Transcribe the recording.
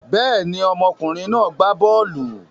Bẹ́ẹ̀ ni, ọmọkùnrin náà gbá bọ́ọ́lù.